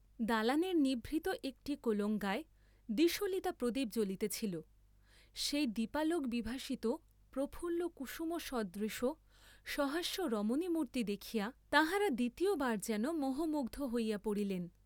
দালানের নিভৃত একটি কোলঙ্গায় দ্বিসলিতা প্রদীপ জ্বলিতেছিল; সেই দাপালোকবিভাসিত প্রফুল্ল কুসুমসদৃশ সহাস্য রমণীমূর্ত্তি দেখিয়া, তাঁহারা দ্বিতীয়বার যেন মোহমুগ্ধ হইয়া পড়িলেন।